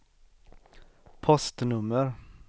postnummer